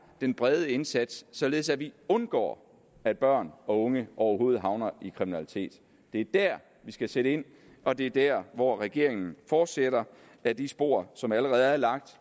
den brede indsats således at vi undgår at børn og unge overhovedet havner i kriminalitet det er der vi skal sætte ind og det er der hvor regeringen fortsætter ad de spor som allerede er lagt